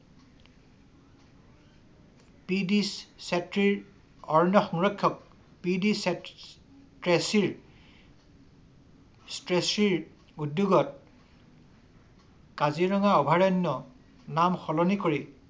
P D চেতীৰ অৰণ্য সংৰক্ষক পি টেচিৰ স্টেচিৰ উদ্যোগত কাজিৰঙা অভয়াৰণ্য নাম সলনি কৰি